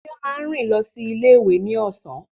Tife máa rìn lọ sí ilé ìwé ní ọ̀sán.